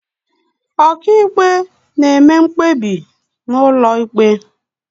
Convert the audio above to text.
ọkàiwu na-eme mkpebi n'ụlọ ikpe